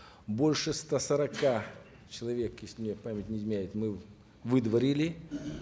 больше ста сорока человек если мне память не изменяет мы выдворили